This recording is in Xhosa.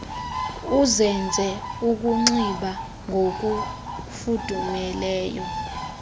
uzenze ukunxiba ngokufudumeleyo